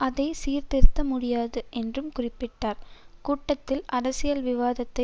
அதை சீர்திருத்த முடியாது என்றும் குறிப்பிட்டார் கூட்டத்தில் அரசியல் விவாதத்தை